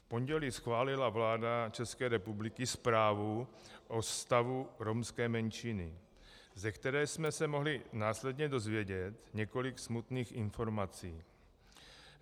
V pondělí schválila vláda České republiky zprávu o stavu romské menšiny, ze které jsme se mohli následně dozvědět několik smutných informací.